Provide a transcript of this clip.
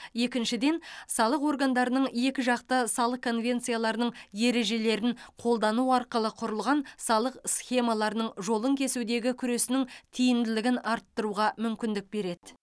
екіншіден салық органдарының екіжақты салық конвенцияларының ережелерін қолдану арқылы құрылған салық схемаларының жолын кесудегі күресінің тиімділігін арттыруға мүмкіндік береді